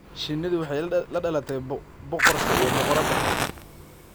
Shinnidu waxay la dhalatay boqorka iyo boqoradda.